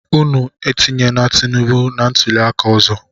Unu etunyena Tinibu na ntuli aka ọzọ!